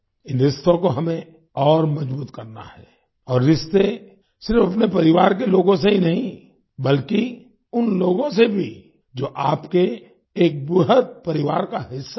इन रिश्तों को हमें और मजबूत करना है और रिश्ते सिर्फ अपने परिवार के लोगों से ही नहीं बल्कि उन लोगों से भी जो आपके एक वृहद् परिवार का हिस्सा है